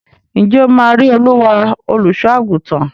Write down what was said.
Ǹjẹ́ ó máa rí Olúwa, olùsọ́-àgùntàn?